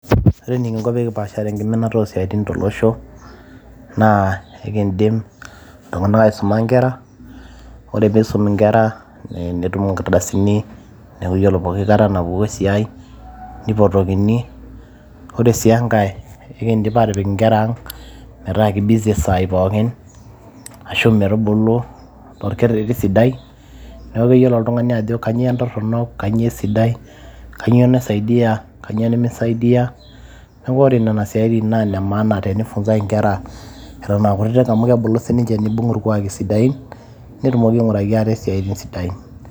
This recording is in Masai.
Ore eninko pekipaash enkiminata osiatin tolosho naa enkidim iltunganak aisuma nkera . ore pisum inkera , netum inkardasin neaku ore pooki kata napuku esiai nipotokini. ore si enkae , enkidim atipiki inkera ang metaa kibizi saa pookin , ashu metubulu torkereti sidai , niaku keyiolo oltungani ajo kainyio entoronok , kainyioo esidai, kainyioo naisaidia , kainyioo nimisaidia . niaku ore nena siatin naa ine maana inkera eton aa kutitik amu kebulu sininche nibung irkwaki sidain ,netumoki ainguraki ate siatin sidain.